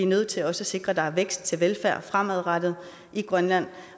nødt til at sikre at der er vækst til velfærd fremadrettet i grønland